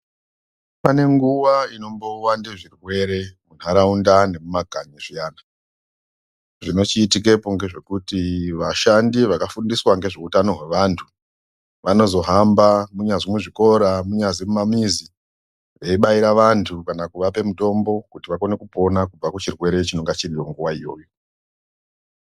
Pane nguwa inombowande zvirwere muntaraunta nemumakanyi zviyana zvinochiitikepo ngezvekuti vashandi vakafundiswa ngezveutano hwevantu vanozohamba munyazi muzvikora munyazi mumamizi veibaire vantu kana kuvape mutombo kuti vakone kupona kubva kuchirwere chinenga chiriyo nguwa iyoyo.